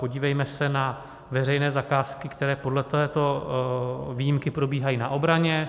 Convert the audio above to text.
Podívejme se na veřejné zakázky, které podle této výjimky probíhají na obraně.